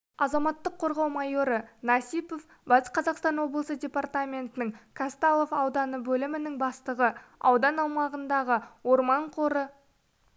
азаматтық қорғау майоры насипов батыс қазақстан облысы департаментінің казталов ауданы бөлімінің бастығы аудан аумағындағы орман қоры